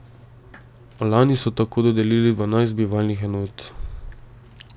Lani so tako dodelili dvanajst bivalnih enot.